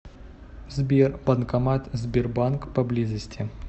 сбер банкомат сбербанк поблизости